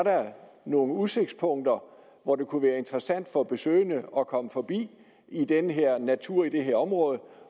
nogle udsigtspunkter hvor det kunne være interessant for besøgende at komme forbi i den her natur i det her område